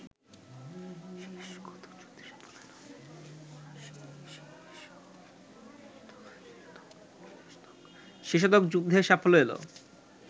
শেষতক যুদ্ধে সাফল্য এল